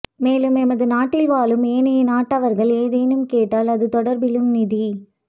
மேலும் எமது நாட்டில் வாழும் ஏனைய நாட்டவர்கள் ஏதேனும் கேட்டால் அது தொடர்பிலும் நிதி